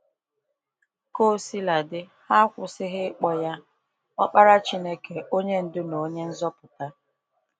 Ka osila dị, ha kwụsịghị ịkpọ ya Ọkpara Chineke, onye ndu, na onye nzọpụta.